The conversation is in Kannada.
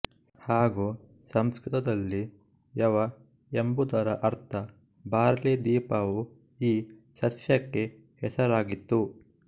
ಹಾಗೂ ಸಂಸ್ಕೃತದಲ್ಲಿ ಯವ ಎಂಬುದರ ಅರ್ಥ ಬಾರ್ಲಿ ದ್ವೀಪವು ಈ ಸಸ್ಯಕ್ಕೆ ಹೆಸರಾಗಿತ್ತು